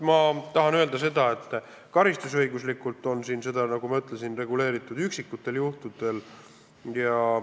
Ma tahan öelda, et karistusõiguslikult on seda, nagu ma ütlesin, reguleeritud üksikutel juhtudel.